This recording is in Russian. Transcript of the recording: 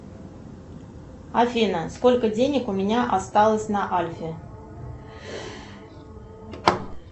афина сколько денег у меня осталось на альфе